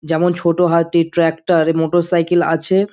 যেমন ছোটো হাতি ট্রাক্টর এ মোটরসাইকেল আছে।